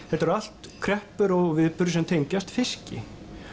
þetta eru allt kreppur og viðburðir sem tengjast fiski